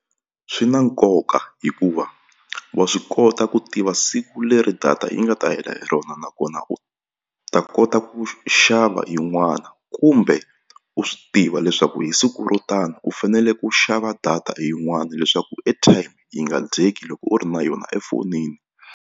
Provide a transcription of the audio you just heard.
Swi na nkoka hikuva wa swi kota ku tiva siku leri data yi nga ta hela hi rona nakona u ta kota ku xava yin'wana kumbe u swi tiva leswaku hi siku ro tani u fanele ku xava data hi yin'wana leswaku airtime yi nga dyeki loko u ri na yona efonini.